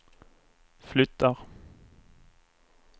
flyttar